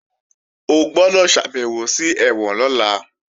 O gbọ́dọ̀ ṣàbèwò sí ẹ̀wọ̀n lọ́la!